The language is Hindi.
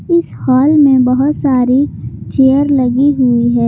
इस हाल में बहुत सारी चेयर लगी हुई है।